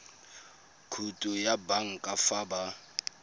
khoutu ya banka fa ba